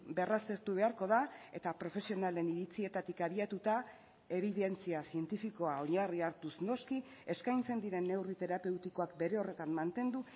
berraztertu beharko da eta profesionalen iritzietatik abiatuta ebidentzia zientifikoa oinarri hartuz noski eskaintzen diren neurri terapeutikoak bere horretan mantendu